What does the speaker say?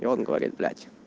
и он говорит блять